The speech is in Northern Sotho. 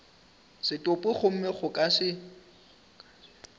setopo gomme go ka se